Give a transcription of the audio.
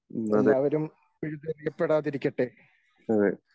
ന്നത് എഹ്